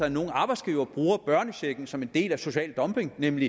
at nogen arbejdsgiver bruger børnechecken som en del af social dumping nemlig